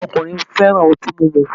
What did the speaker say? Awọn ọkunrin fẹ́ràn ọti mímu